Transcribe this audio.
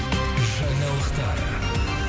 жаңалықтар